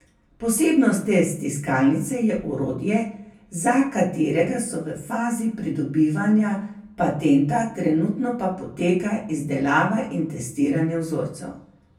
Posebnost te stiskalnice je orodje, za katerega so v fazi pridobivanja patenta, trenutno pa poteka izdelava in testiranje vzorcev.